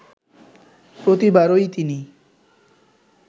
প্রতিবারই তিনি